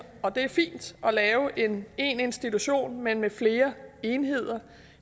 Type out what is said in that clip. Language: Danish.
og det er fint at lave én institution men med flere enheder